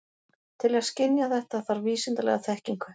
Til að skynja þetta þarf vísindalega þekkingu.